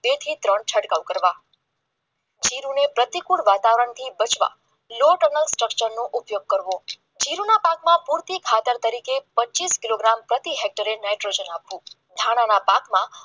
બે થી ત્રણ છંટકાવ કરવા જીરુને પ્રતિકૂળ વાતાવરણથી બચવા નુ સ્ટ્રક્ચરનો ઉપયોગ કરવો જીરુના પાકમાં ભૂલથી ખાતર તરીકે પચીસ કિલોગ્રામ પ્રતિ હેક્ટર નાઇટ્રોજન ધાણાના પાકમાં